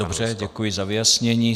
Dobře, děkuji za ujasnění.